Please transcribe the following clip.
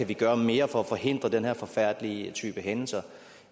kan gøre mere for at forhindre den her forfærdelige type hændelser